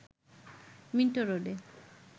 Minto রোডে